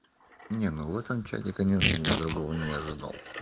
не ну в этом чате я конечно другого не ожидал